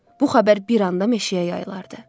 Bu xəbər bir anda meşəyə yayılardı.